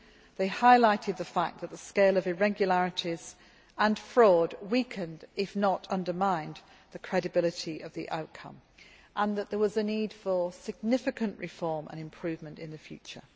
They highlighted the fact that the scale of irregularities and fraud weakened, if not undermined, the credibility of the outcome, and that there was a need for significant reforms and improvements in the future.